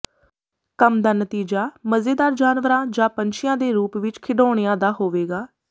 ਕੰਮ ਦਾ ਨਤੀਜਾ ਮਜ਼ੇਦਾਰ ਜਾਨਵਰਾਂ ਜਾਂ ਪੰਛੀਆਂ ਦੇ ਰੂਪ ਵਿਚ ਖਿਡੌਣਿਆਂ ਦਾ ਹੋਵੇਗਾ